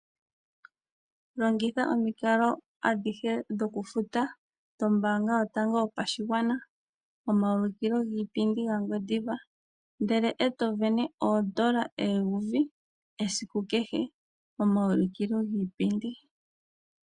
Longitha omikalo adhihe dhokufuta dhombaanga yotango yopashigwana momaulukilo giipindi gaNgwediva, ndele e to sindana oodola eyovi esiku kehe momaulukilo giipindi.